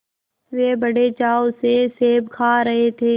वे बड़े चाव से सेब खा रहे थे